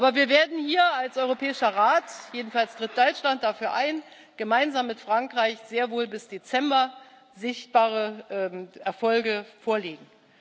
Aber wir werden hier als Europäischer Rat jedenfalls tritt Deutschland dafür ein, gemeinsam mit Frankreich sehr wohl bis Dezember sichtbare Erfolge vorlegen.